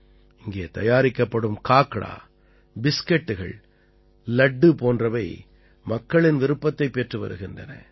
இங்கே தயாரிக்கப்படும் காக்ரா பிஸ்கட்டுகள் லட்டு போன்றவை மக்களின் விருப்பத்தைப் பெற்று வருகின்றன